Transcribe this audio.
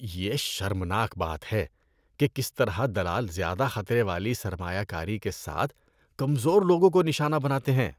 یہ شرمناک بات ہے کہ کس طرح دلال زیادہ خطرے والی سرمایہ کاری کے ساتھ کمزور لوگوں کو نشانہ بناتے ہیں۔